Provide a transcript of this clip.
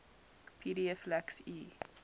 pdf lacks e